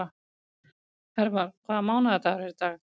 Hervar, hvaða mánaðardagur er í dag?